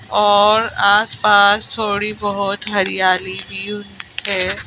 और आसपास थोड़ी बहुत हरियाली भी है।